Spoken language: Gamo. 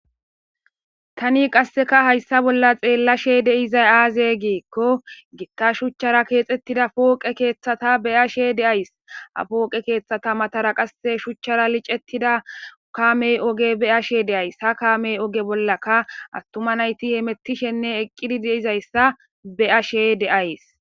tani qasseka hayssa bolla xeellashe de7izay aaze giikko gitta shuchchara keexettida pooqe keeththata be7ashe de7ays ha pooqe keeththata matara qasse shuchchara licettida kaamey oge be7ashe de7ays ha kaamey oge bollaka attuma nayti hemettishenne eqqidi de7izayssa be7ashe de7ays.